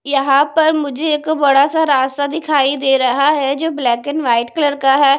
यहां पर मुझे एक बड़ा सा रास्ता दिखाई दे रहा है जो ब्लैक एंड व्हाइट कलर का है।